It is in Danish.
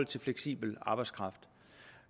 til fleksibel arbejdskraft